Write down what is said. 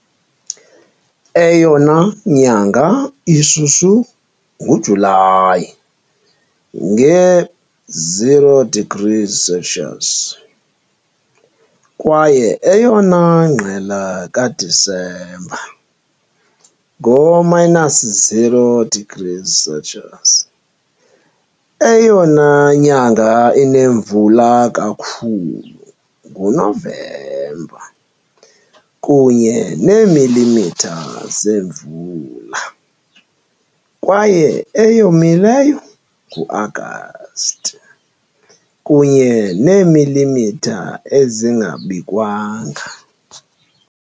Eyona nyanga ishushu nguJulayi, nge-0 degrees Celsius, kwaye eyona ngqele kaDisemba, ngo-minus 0 degrees Celsius. Eyona nyanga inemvula kakhulu nguNovemba, kunye neemilimitha zemvula, kwaye eyomileyo nguAgasti, kunye neemilimitha ezinganikwanga.